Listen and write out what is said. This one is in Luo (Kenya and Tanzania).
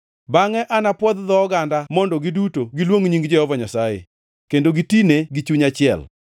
“Bangʼe anapwodh dho oganda mondo giduto giluong nying Jehova Nyasaye, kendo gitine gi chuny achiel.